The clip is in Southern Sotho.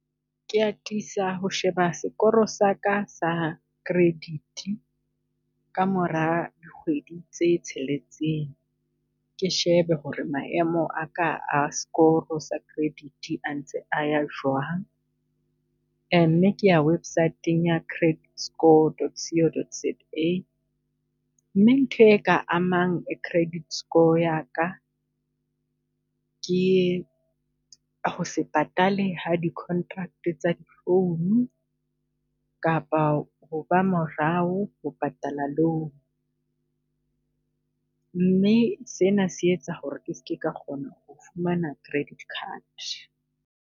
Ke atisa ho sheba sekoro saka sa credit ka mora dikgwedi tse tsheletseng, ke shebe ho re maemo a ka a score sa credit a ntse a ya jwang. Mme ke ya website-ing ya credit score dot co dot za, mme ntho e ka amang credit score ya ka, ke ho se patale ha di contract tsa di phone kapa ho ba morao ho patala loan. Mme sena se etsa ho re ke ske ka kgona ho fumana credit card.